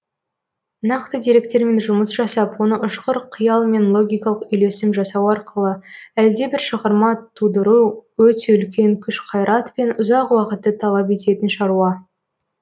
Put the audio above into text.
нақты деректермен жұмыс жасап оны ұшқыр қиял мен логикалық үйлесім жасау арқылы әлдебір шығарма тудыру өте үлкен күш қайрат пен ұзақ уақытты талап ететін шаруа